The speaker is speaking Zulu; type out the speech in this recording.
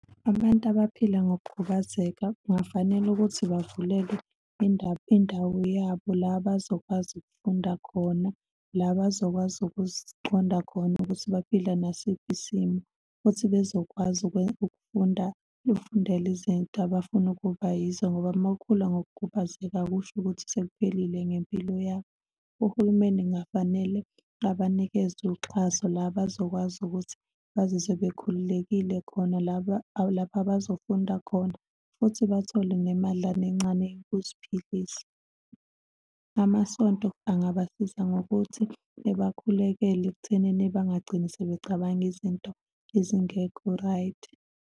Abantu abaphila ngokukhubazeka kungafanele ukuthi bavulelwe indawo yabo, la bazokwazi ukufunda khona, la bazokwazi ukuziqonda khona ukuthi baphila nasiphi isimo, futhi bezokwazi ukufunda, ukufundela izinto abafuna ukuba yizo, ngoba uma ukhula ngokukhubazeka akusho ukuthi sekuphelile ngempilo yakho. Uhulumeni kungafanele abanikeze uxhaso, la bazokwazi ukuthi bazizwe bekhululekile khona, laba lapho abazofunda khona, futhi bathole nemadlana encane yokuziphilisa. Amasonto angabsiza ngokuthi ebakhulekele ekuthenini bengagcini sebecabanga izinto ezingekho right?